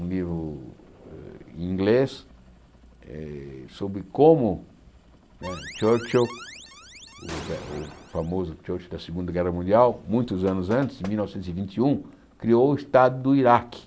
um livro em inglês eh sobre como né Churchill, o famoso Churchill da Segunda Guerra Mundial, muitos anos antes, em mil novecentos e vinte e um, criou o Estado do Iraque.